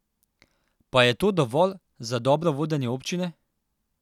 Pa je to dovolj za dobro vodenje občine?